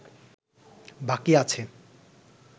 বাকী আছে